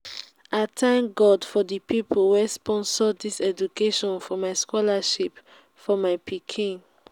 i thank god for the people wey sponsor dis scholarship for my scholarship for my pikin